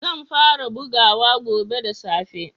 Zan fara bugawa gobe da safe.